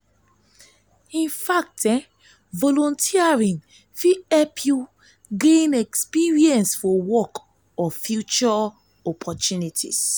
volunteering fit help yu gain experience for work or future opportunities.